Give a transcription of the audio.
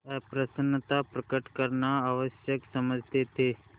अप्रसन्नता प्रकट करना आवश्यक समझते थे